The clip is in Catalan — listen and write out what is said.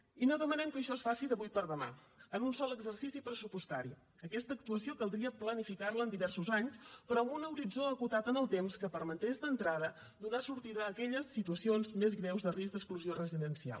i no demanem que això es faci d’avui per demà en un sol exercici pressupostari aquesta actuació caldria planificar la en diversos anys però amb un horitzó acotat en el temps que permetés d’entrada donar sortida a aquelles situacions més greus de risc d’exclusió residencial